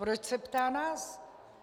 Proč se ptá nás?